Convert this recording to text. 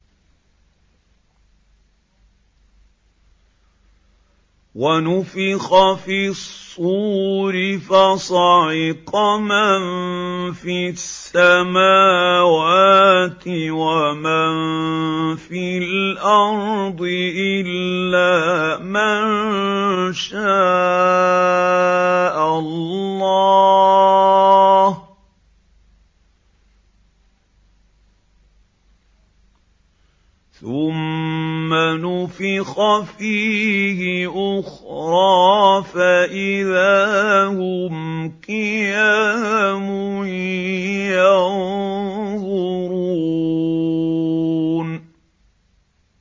وَنُفِخَ فِي الصُّورِ فَصَعِقَ مَن فِي السَّمَاوَاتِ وَمَن فِي الْأَرْضِ إِلَّا مَن شَاءَ اللَّهُ ۖ ثُمَّ نُفِخَ فِيهِ أُخْرَىٰ فَإِذَا هُمْ قِيَامٌ يَنظُرُونَ